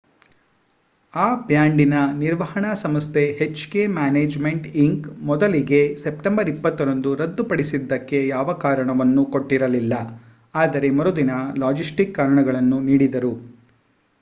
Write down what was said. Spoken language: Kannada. ಆ ಬ್ಯಾಂಡಿನ ನಿರ್ವಹಣಾ ಸಂಸ್ಥೆ ಎಚ್ ಕೆ ಮ್ಯಾನೇಜ್ಮೆಂಟ್ ಇಂಕ್. ಮೊದಲಿಗೆ ಸೆಪ್ಟೆಂಬರ್ 20 ರಂದು ರದ್ದು ಪಡಿಸಿದ್ದಕ್ಕೆ ಯಾವ ಕಾರಣವನ್ನೂ ಕೊಟ್ಟಿರಲಿಲ್ಲ ಆದರೆ ಮರುದಿನ ಲಾಜಿಸ್ಟಿಕ್ ಕಾರಣಗಳನ್ನು ನೀಡಿದರು